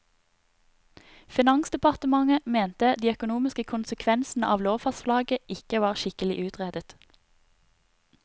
Finansdepartementet mente de økonomiske konsekvensene av lovforslaget ikke var skikkelig utredet.